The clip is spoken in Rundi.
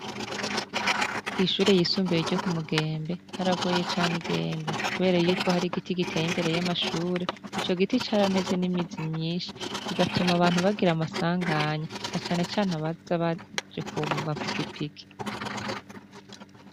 Kw'ishure yisumbiwe ryo ku mugembe haragoye cane igenda, kubera yuko hari igiti giteye imbere y'amashure ico giti carameze n'imizi myinshi igatuma abantu bagira amasanganya na canecane baza baje ku mapigipiki.